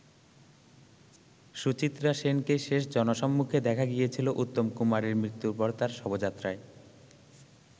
সুচিত্রা সেনকে শেষ জনসম্মুখে দেখা গিয়েছিল উত্তম কুমারের মৃত্যুর পর তার শবযাত্রায়।